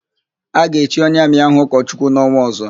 A ga-echi onye Amị ahụ ụkọchukwu n'ọnwa ọ̀zọ́.